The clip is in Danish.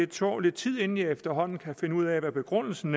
tog lidt tid inden jeg efterhånden kunne finde ud af hvad begrundelsen